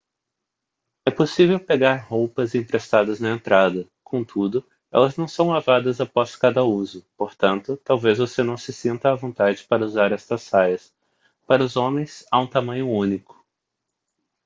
é possível pegar roupas emprestadas na entrada contudo elas não são lavadas após cada uso portanto talvez você não se sinta à vontade para usar estas saias para os homens há um tamanho único